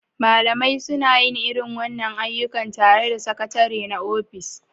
Malamai suna yin irin wannan ayyuka tare da Sakatare na ofis